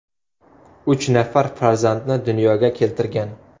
Uch nafar farzandni dunyoga keltirgan.